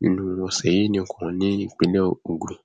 nínú ọsẹ yìí nìkan nípínlẹ ogun